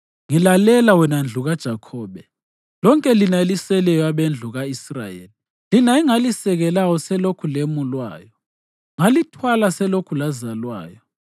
“Ngilalela wena ndlu kaJakhobe, lonke lina eliseleyo abendlu ka-Israyeli, lina engalisekelayo selokhu lemulwayo, ngalithwala selokhu lazalwayo.